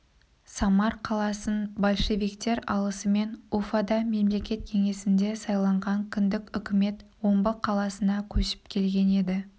самар қаласын большевиктер алысымен уфада мемлекет кеңесінде сайланған кіндік үкімет омбы қаласына көшіп келген еді